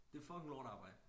Det fucking lortearbejde